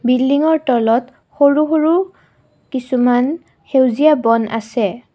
বিল্ডিঙৰ তলত সৰু সৰু কিছুমান সেউজীয়া বন আছে।